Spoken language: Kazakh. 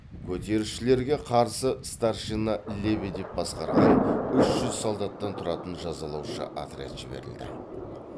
көтерілісшілерге қарсы старшина лебедев басқарған үш жүз солдаттан тұратын жазалаушы отряд жіберілді